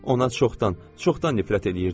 Ona çoxdan, çoxdan nifrət eləyirdim.